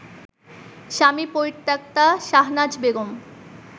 স্বামী পরিত্যক্তা শাহনাজ বেগম